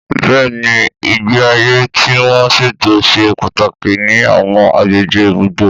Bẹ́ẹ̀ni, ìgbé ayé tí wọ́n ṣètò ṣe pàtàkì ní àwọn agbègbè ibùgbé.